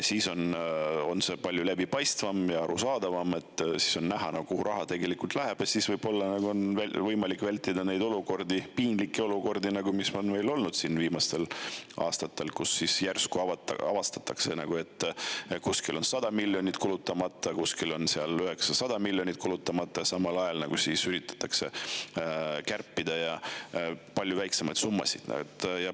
See on palju läbipaistvam ja arusaadavam ning selle puhul on näha, kuhu raha tegelikult läheb, ja nii on võib-olla võimalik vältida neid olukordi, piinlikke olukordi, mis meil viimastel aastatel on olnud, et järsku avastatakse, et kuskil on kulutamata 100 miljonit, kuskil 900 miljonit, aga samal ajal üritatakse kärpida palju väiksemaid summasid.